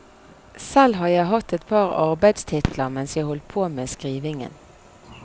Selv har jeg hatt et par arbeidstitler mens jeg holdt på med skrivingen.